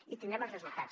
i en tindrem els resultats